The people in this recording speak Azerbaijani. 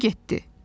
Qurtardı getdi.